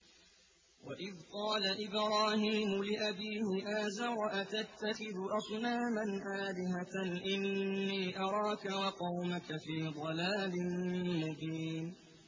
۞ وَإِذْ قَالَ إِبْرَاهِيمُ لِأَبِيهِ آزَرَ أَتَتَّخِذُ أَصْنَامًا آلِهَةً ۖ إِنِّي أَرَاكَ وَقَوْمَكَ فِي ضَلَالٍ مُّبِينٍ